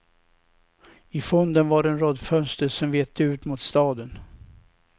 I fonden var en rad fönster som vette ut mot staden.